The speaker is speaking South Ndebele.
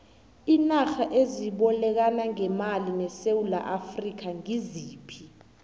iinarha ezibolekana ngemali nesewula afrika ngiziphi